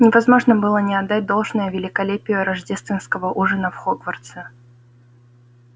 невозможно было не отдать должное великолепию рождественского ужина в хогвартсе